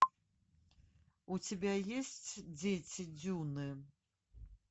у тебя есть дети дюны